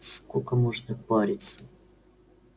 сколько можно здесь париться